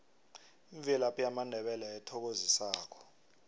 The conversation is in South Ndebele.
imvelaphi yamandebele ethokozisako